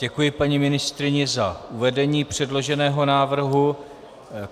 Děkuji paní ministryni za uvedení předloženého návrhu.